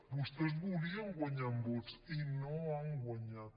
vostès volien guanyar en vots i no han guanyat